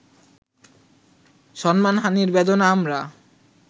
সম্মানহানির বেদনা আমরা